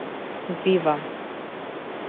вива